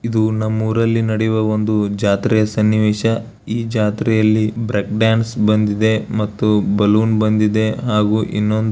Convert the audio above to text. ಇದು ನಮ್ಮ ಊರಿಲ್ಲಿ ನಡೆಯುವ ಒಂದು ಜಾತ್ರೆಯ ಸನ್ನಿವೇಶ ಈ ಜಾತ್ರೆಯಲ್ಲಿ ಬ್ರೇಕ್ ಡ್ಯಾನ್ಸ್ ಬಂದಿದೆ ಮತ್ತು ಬಲೂನ್ ಬಂದಿದೆ ಹಾಗು ಇನ್ನೊಂದು --